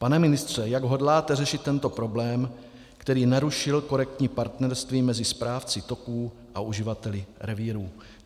Pane ministře, jak hodláte řešit tento problém, který narušil korektní partnerství mezi správci toků a uživateli revírů?